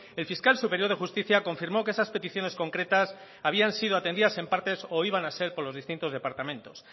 el fiscal superior de justicia confirmó que esas peticiones concretas habían sido atendidas en partes o iban a ser por los distintos departamentos